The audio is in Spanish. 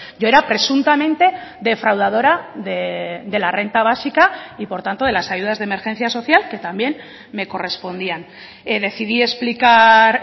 yo era presuntamente defraudadora de la renta básica y por tanto de las ayudas de emergencia social que también me correspondían decidí explicar